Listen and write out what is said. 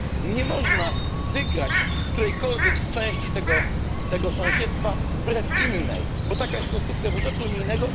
Nie można wygrać którejkolwiek części tego sąsiedztwa wbrew innej, bo taka jest konstrukcja budżetu unijnego.